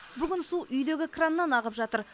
бүгін су үйдегі краннан ағып жатыр